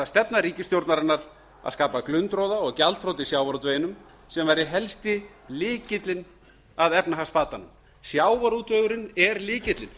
stefna ríkisstjórnarinnar að skapa glundroða og gjaldþrot í sjávarútveginum sem væri helsti lykillinn að efnahagsbatanum sjávarútvegurinn er lykillinn